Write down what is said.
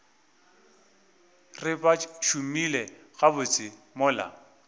re ba šomile gabotse mola